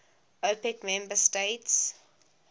opec member states